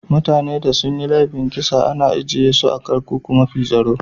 Mutani da sun yi laifin kisa ana ajie su a'kurkukun mafi tsaro.